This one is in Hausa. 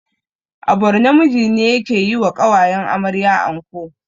A borno miji ne yake yiwa ƙawayen amarya anko